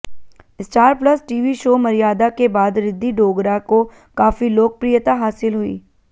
star Plus TV show Maryada के बाद रिद्धि डोगरा को काफी लोकप्रियता हासिल हुई